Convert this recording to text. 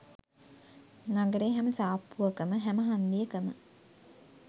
නගරේ හැම සාප්පුවකම හැම හන්දියකම